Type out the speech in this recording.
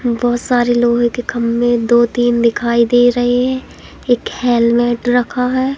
बहोत सारे लोहे के खंभे दो तीन दिखाई दे रहे हैं। एक हेल्मेट रखा है।